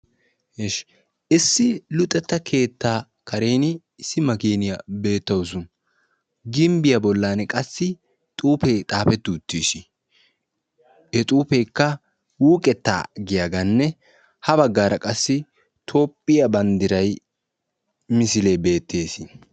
issi luxetta keetta kareni kaame beettessi shucha dirssa bolanikka duma umma xuufetikka xaafetidi beettosona.